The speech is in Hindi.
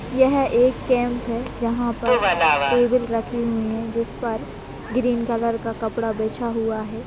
ये एक कैंप है जहाँ पर टेबल रखे हुए है जिस पर ग्रीन कलर का कपड़ा बिछा हुआ है।